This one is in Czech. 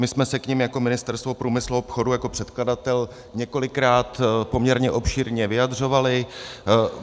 My jsme se k nim jako Ministerstvo průmyslu a obchodu, jako předkladatel, několikrát poměrně obšírně vyjadřovali.